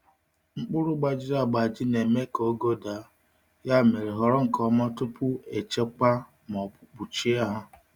Mkpụrụ gbajiri agbaji na-eme ka ogo daa, ya mere họrọ nke ọma tupu echekwa ma ọ bụ kpuchie ha.